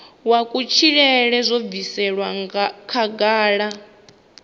wa kutshilele zwo bviselwa khagala